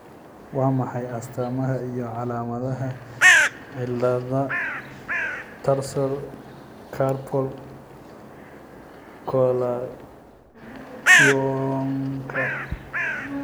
Waa maxay astaamaha iyo calaamadaha cillada Tarsal carpal coalitionka?